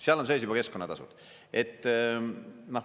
Seal on sees juba keskkonnatasud.